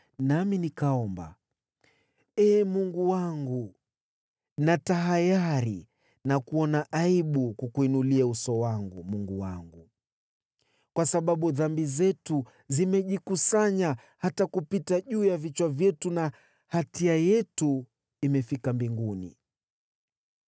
Nami nikaomba: “Ee Mungu wangu, natahayari na kuona aibu kukuinulia uso wangu Mungu wangu, kwa sababu dhambi zetu zimejikusanya hata kupita juu ya vichwa vyetu na hatia yetu imefika mbinguni.